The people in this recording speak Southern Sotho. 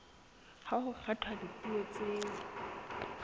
ha ho kgethwa dipuo tseo